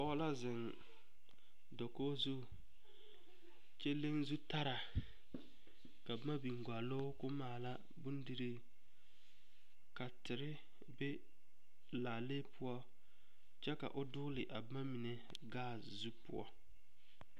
Pɔge la zeŋ dakogi zu kyɛ leŋ zutara ka boma biŋ gɔloo ka o maala bondirii ka tere be laalee poɔ kyɛ ka o dogle a boma mine kaase zu poɔ.